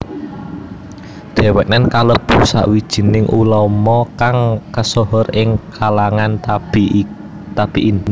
Dhèwèké kalebu sawijining ulama kang kesohor ing kalangan tabi in